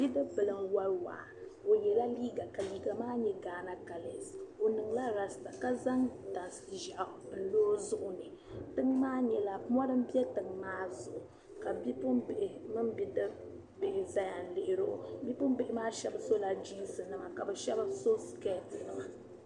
Bidibili n wari waa o yɛla liiga ka liiga maa nyɛ Ghana kalesi o niŋla rastar ka zaŋ tani ʒiɛɣu n lɔ o zuɣu ni tiŋ maa nyɛla mɔri m bɛ maa zuɣu ka Bipuɣibihi mini bidibihi zaya lihiri o bipuɣibihi shɛba sula jeensinima ka shɛba sichɛtinima ma .